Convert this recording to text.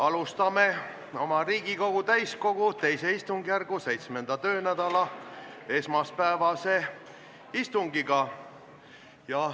Alustame Riigikogu täiskogu II istungjärgu 7. töönädala esmaspäevase istungiga.